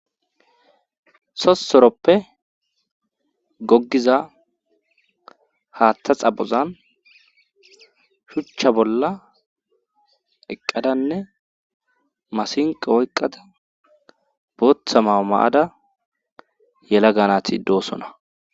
Sossoroppe goggiza haattha xabozan shuchcha bolla eqqadanne masinqa woyqqada booththa maa maada yela ganati doosona.